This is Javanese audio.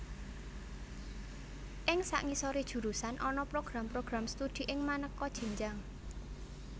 Ing sangisoré jurusan ana program program studi ing manéka jenjang